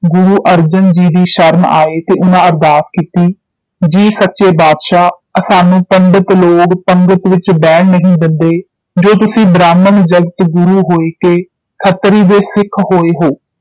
ਗੁਰੂ ਅਰਜਨ ਜੀ ਦੀ ਸ਼ਰਨ ਆਏ ਤੇ ਉਨ੍ਹਾਂ ਅਰਦਾਸ ਕੀਤੀ ਜੀ ਸੱਚੇ ਬਾਦਸ਼ਾਹ ਅਸਾਨੂੰ ਪੰਡਿਤ ਲੋਗ ਪੰਗਤਿ ਵਿਚ ਬਹਿਣ ਨਹੀਂ ਦਿੰਦੇ ਜੋ ਤੁਸੀਂ ਬ੍ਰਾਹਮਣ ਜਗਤ ਗੁਰੂ ਹੋਇਕੇ ਖੱਤ੍ਰੀ ਦੇ ਸਿੱਖ ਹੋਏ ਹੋ